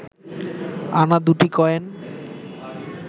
আনা দুটি কয়েন